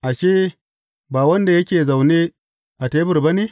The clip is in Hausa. Ashe, ba wanda yake zaune a tebur ba ne?